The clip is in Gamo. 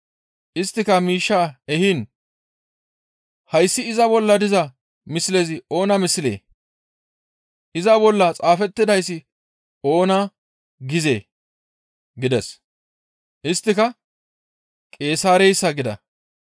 Isttika miishshaa ehiin, «Hayssi iza bolla diza mislezi oona mislee? Iza bolla xaafettidayssi oona gizee?» gides. Isttika, «Qeesaareyssa» gida.